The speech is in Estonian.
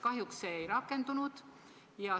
Kahjuks see ei rakendunud.